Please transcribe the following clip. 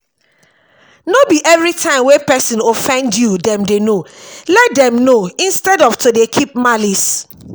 no be everytime wey person offend you dem dey know let them know instead of to dey keep malice